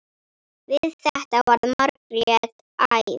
Við þetta varð Margrét æf.